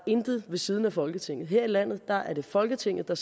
intet ved siden af folketinget her i landet er er det folketinget der